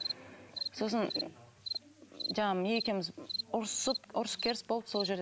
сосын жаңағы екеуміз ұрысып ұрыс керіс болып сол жерде